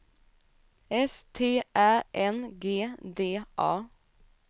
S T Ä N G D A